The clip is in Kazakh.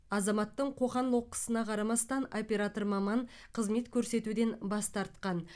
азаматтың қоқан лоққысына қарамастан оператор маман қызмет көрсетуден бас тартқан